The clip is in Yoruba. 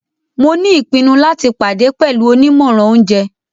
Mo ni ipinnu lati pade pẹlu onimọran ounjẹ.